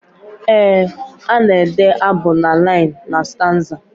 Ee ana ede abụ na liinu na staanza.